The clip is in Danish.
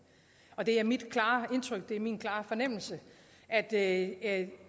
og det er mit klare indtryk det er min klare fornemmelse at at